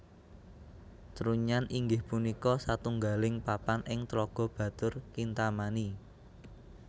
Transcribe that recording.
Trunyan inggih punika satunggaling papan ing Tlaga Batur Kintamani